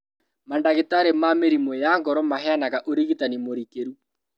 Mandagĩtarĩ ma mĩrimũ ya ngoro maheanaga ũrigitani mũrikĩru